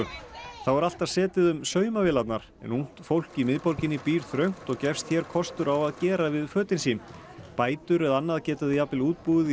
þá er alltaf setið um en ungt fólk í miðborginni býr þröngt og gefst hér kostur á að gera við fötin sín bætur eða annað geta þau jafnvel útbúið í